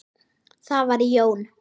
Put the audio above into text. Það var Jón